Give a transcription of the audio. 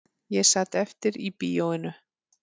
Ég sat eftir í bíóinu